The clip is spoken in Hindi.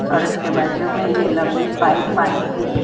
और इसके बाजू में यह लंबी पाइप पानी की--